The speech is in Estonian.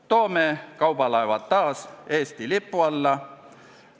Toome kaubalaevad taas Eesti lipu alla!